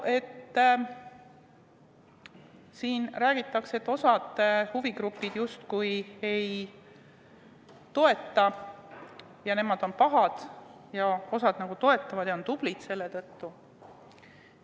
Siin räägitakse, et osa huvigruppe eelnõu ei toeta ja nemad on pahad, osa aga toetab ja on seetõttu tublid.